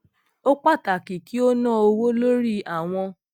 ó pàtàkì kí ó ná owó lórí àwọn